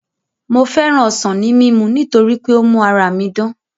Mo féràn ọsàn ní mímu torí pé ó ń mú ara mi dán